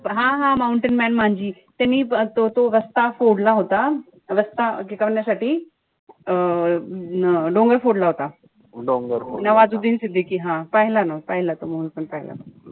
हा-हा-हा mountain man त्यांनी तो तो रस्ता फोडला होता. रस्ता टिकवण्यासाठी. अं डोंगर फोडला होता. नवाजुद्दीन सिद्दीकी हा. पाहिला ना पाहिला. तो movie पण पाहिला.